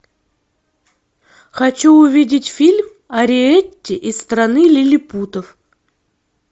хочу увидеть фильм ариэтти из страны лилипутов